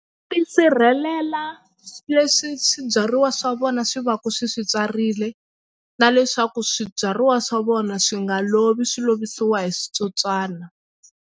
Tisirhelela leswi swibyariwa swa vona swi va ku swi swi tswarile na leswaku swibyariwa swa vona swi nga lovi swi lovisiwa hi switsotswana.